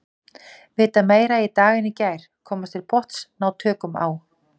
Vita meira í dag en í gær, komast til botns, ná tökum á.